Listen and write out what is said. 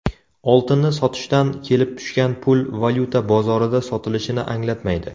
Oltinni sotishdan kelib tushgan pul valyuta bozorida sotilishini anglatmaydi.